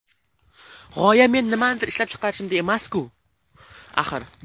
G‘oya men nimanidir ishlab chiqarishimda emas-ku, axir.